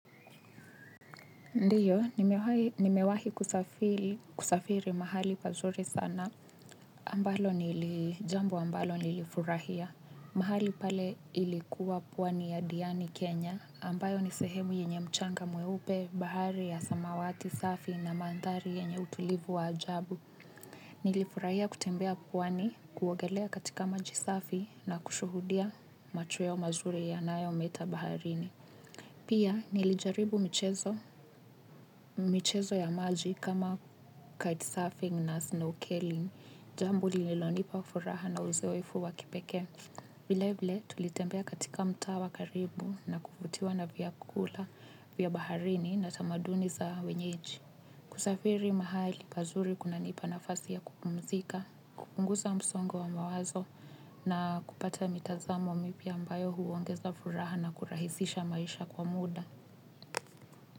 Ndiyo, nimewahi kusafiri mahali pazuri sana. Ambalo ni jambo ambalo nilifurahia. Mahali pale ilikuwa pwani ya Diani Kenya, ambayo nisehemu yenye mchanga mweupe bahari ya samawati safi na manthari yenye utulivu wa ajabu. Nilifurahia kutembea pwani kuogelea katika maji safi na kushuhudia machweo mazuri yanayometa baharini. Pia, nilijaribu michezo ya maji kama kite surfing na snow killing, jambo lililonipa furaha na uzoefu wa kipekee. Vile vile, tulitembea katika mtaa wa karibu na kufutiwaa na vyakula, vya baharini na tamaduni za wenyeji. Kusafiri mahali pazuri kunanipa nafasi ya kukumzika, kupunguza msongo wa mawazo na kupata mitazamo mipya ambayo huongeza furaha na kurahisisha maisha kwa muda.